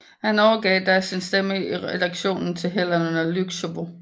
Han overgav da sin stemme i redaktionen til Helena Łuczywo